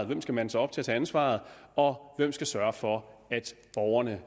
hvem skal mande sig op til at tage ansvaret og hvem skal sørge for at